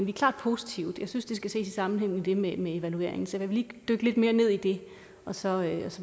er klart positive men jeg synes det skal ses i sammenhæng med det med evalueringen så lad mig lige dykke lidt mere ned i det og så